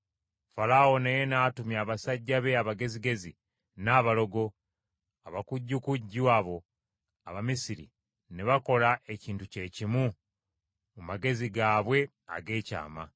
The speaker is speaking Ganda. Falaawo naye n’atumya basajja be abagezigezi, n’abalogo; abakujjukujju abo Abamisiri ne bakola ekintu kye kimu mu magezi gaabwe ag’ekyama.